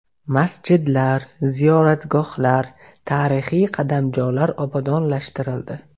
Masjidlar, ziyoratgohlar, tarixiy qadamjolar obodonlashtirildi.